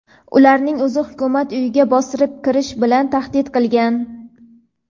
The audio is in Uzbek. ularning o‘zi Hukumat uyiga bostirib kirish bilan tahdid qilgan.